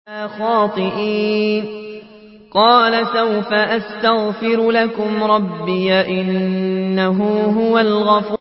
قَالَ سَوْفَ أَسْتَغْفِرُ لَكُمْ رَبِّي ۖ إِنَّهُ هُوَ الْغَفُورُ الرَّحِيمُ